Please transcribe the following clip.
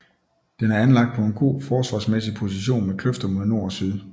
Den er anlagt på en god forsvarsmæssig position med kløfter mod nord og syd